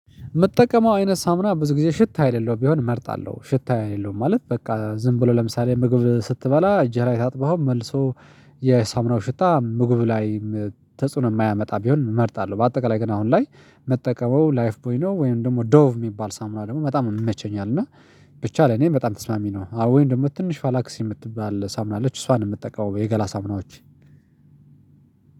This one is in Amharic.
የምጠቀመው አይነት ሳምና ብዙ ጊዜ ሽታ የለለው ቢሆን እመርጣለሁ ሽታ የሌለው ማለት በቃ ዝም ብሎ ለምሳሌ ምግብ ስትበላ እጅህ ላይ ታጥበኸው መልሶ የሳሙናው ሽታ ምግቡ ላይ ተጽዕኖ የማያመጣ ቢሆን እመርጣለሁ። በአጠቃላይ ግን አሁን ላይ መጠቀመው ላይፍ ቦይ ነው ወይም ደግሞ ዶቭ የሚባል ሳሙና ደግሞ በጣም ነው የምመቸኝ አለ ብቻ ለኔ በጣም ተስማሚ ነው። አዎ ወይ እንደሞ ትንሽ ፋላክሲ የምትባል ሳሙና አለች እሷን የምትጠቀመው የገላ ሳምናዎችን